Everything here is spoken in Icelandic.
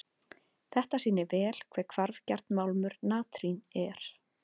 Þetta sýnir vel hve hvarfgjarn málmur natrín er.